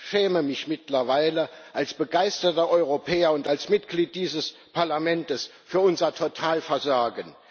Ich schäme mich mittlerweile als begeisterter Europäer und als Mitglied dieses Parlaments für unser Totalversagen.